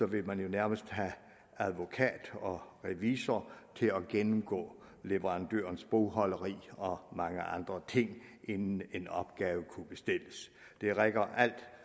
vil man jo nærmest have advokat og revisor til at gennemgå leverandørens bogholderi og mange andre ting inden en opgave kan bestilles det rækker alt